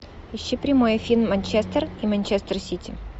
ищи прямой эфир манчестер и манчестер сити